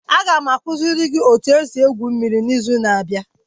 Aga m akuziri gị etu esi egwu mmiri n'izu na-abịa.